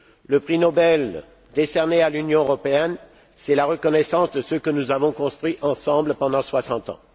Le prix Nobel décerné à l'Union européenne, c'est la reconnaissance de ce que nous avons construit ensemble pendant soixante ans.